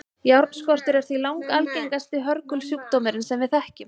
járnskortur er því langalgengasti hörgulsjúkdómurinn sem við þekkjum